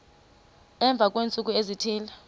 emva kweentsuku ezithile